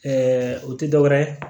o tɛ dɔwɛrɛ ye